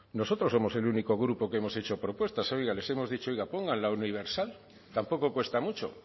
nosotros somos el único grupo que hemos hecho propuestas oiga les hemos dicho oigan pongan la universal tampoco cuesta mucho